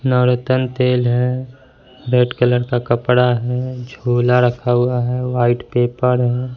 नवरत्न तेल है red colour का कपड़ा है झोला रखा हुआ है व्हाइट पेपर है।